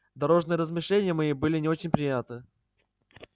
дорожные размышления мои были не очень приятны